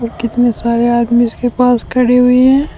कितने सारे आदमी उसके पास खड़े हुए है।